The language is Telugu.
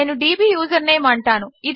నేను డీబీ యూజర్నేమ్ అంటాను